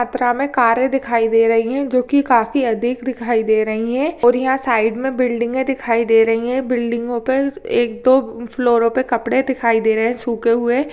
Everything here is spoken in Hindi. पत्रा में कारें दिखाई दे रही है जो की काफी अधिक दिखाई दे रहीं है और यहाँ साइड में बिल्डिंगे दिखाई दे रहीं है बिल्डिंगो पे एक दो फ्लोरो पे कपड़े दिखाई दे रहें है सूखे हुए।